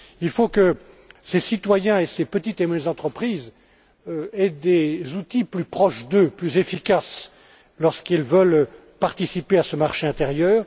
Il faut que ces citoyens et ces petites et moyennes entreprises aient des outils plus proches d'eux et plus efficaces, lorsqu'ils veulent participer à ce marché intérieur.